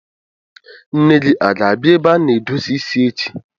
Nne gi a ga-abia ebe a na-edozi isi echi?